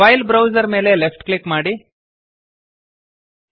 file browser ಮೇಲೆ left click ಮಾಡಿರಿ